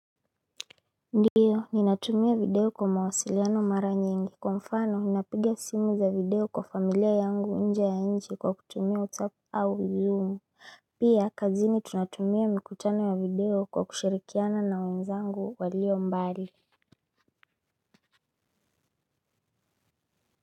Ndiyo, ninatumia video kwa mawasiliano mara nyingi. Kwa mfano, ninapigia simu za video kwa familia yangu nje ya nchi kwa kutumia Whatsapp au zoom. Pia, kazini tunatumia mikutano ya video kwa kushirikiana na wenzangu walio mbali.